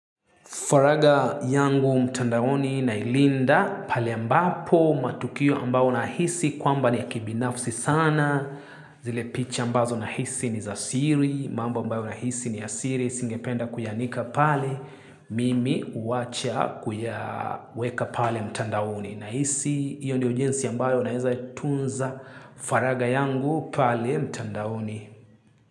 Faraga yangu mtandaoni nailinda pale ambapo matukio ambao nahisi kwamba ni ya kibinafsi sana zile picha ambazo nahisi ni za siri mambo ambayo nahisi ni ya siri singependa kuyaanika pale mimi huwacha kuyaweka pale mtandaoni nahisi iyo ndio jinsi ambayo naeza tunza faraga yangu pale mtandaoni.